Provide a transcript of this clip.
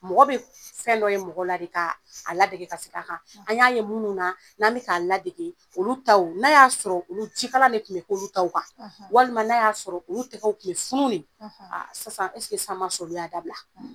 Mɔgɔ be f fɛn dɔ ye mɔgɔ la de kaa a ladege ka seg'a kan . An y'a ye munnu na, n'an be k'a ladege, olu taw n'a y'a sɔrɔ olu jikalan de tun be kɛ olu taw kan, walima n'a y'a sɔrɔ olu tɛgɛw tun be furu de aa sisan sisan m'a sɔrɔ olu y'a dabila?